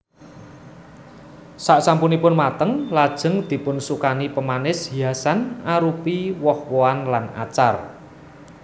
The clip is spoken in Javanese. Sasampunipun mateng lajeng dipunsukani pamanis hiasan arupi woh wohan lan acar